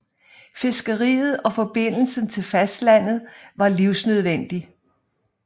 Fiskeriet og forbindelsen til fastlandet var livsnødvendig